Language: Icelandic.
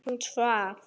Hún svaf.